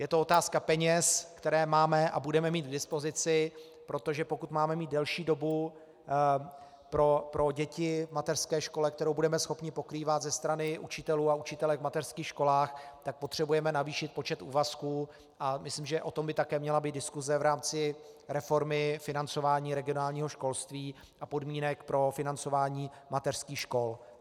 Je to otázka peněz, které máme a budeme mít k dispozici, protože pokud máme mít delší dobu pro děti v mateřské škole, kterou budeme schopni pokrývat ze strany učitelů a učitelek v mateřských školách, tak potřebujeme navýšit počet úvazků a myslím, že o tom by také měla být diskuse v rámci reformy financování regionálního školství a podmínek pro financování mateřských škol.